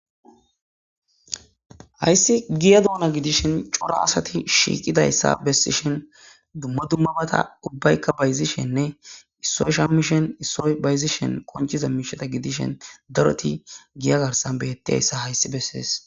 Hayisi giya donna gidishini corra assati shiqidayissa bessishini duma duma batta ubayikka bayizishene isoyi shamishin issoyi bayizishimi corra assati giya garissani betishini besesi